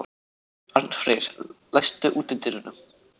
Arnfreyr, læstu útidyrunum.